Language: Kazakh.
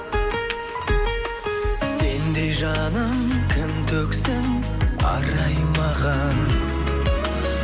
сендей жаным кім төксін арай маған